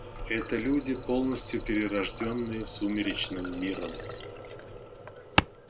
это люди полностью перерождённые сумеречным миром